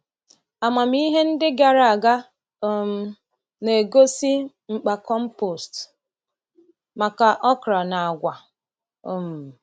Amamihe ndị gara aga um na-egosi mkpa compost maka okra na agwa. um